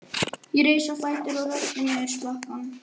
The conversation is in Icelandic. Ég reis á fætur og rölti niður slakkann.